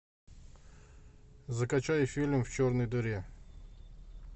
закачай фильм в черной дыре